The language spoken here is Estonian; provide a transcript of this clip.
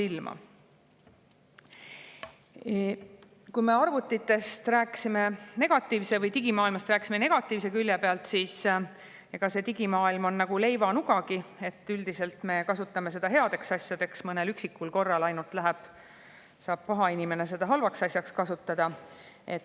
Me rääkisime arvutitest või digimaailmast negatiivse külje pealt, aga see digimaailm on nagu leivanugagi: üldiselt me kasutame seda headeks asjadeks, ainult mõnel üksikul korral saab paha inimene seda halvaks asjaks kasutada.